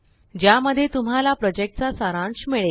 ज्या मध्ये तुम्हाला प्रोजेक्टचा सारांश मिळेल